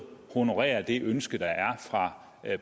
honorerer det ønske der er fra